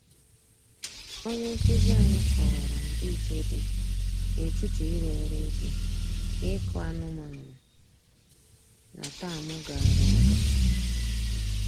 Onye nkụzi anyị kọwara ndị iche dị n'etiti ịrụ ọrụ ubi na ịkụ anụmanụ na tamụ gara aga